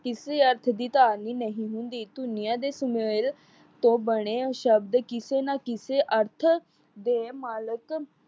ਕਿਸੇ ਅਰਥ ਦੀ ਧਾਰਨੀ ਨਹੀਂ ਹੁੰਦੀ। ਧੁਨੀਆਂ ਦੇ ਸੁਮੇਲ ਤੋਂ ਬਣੇ ਸ਼ਬਦ ਕਿਸੇ ਨਾ ਕਿਸੇ ਅਰਥ ਦੇ ਮਾਲਕ